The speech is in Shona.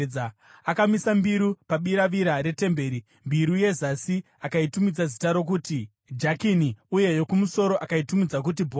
Akamisa mbiru pabiravira retemberi. Mbiru yezasi akaitumidza zita rokuti Jakini uye yokumusoro akaitumidza kuti Bhoazi.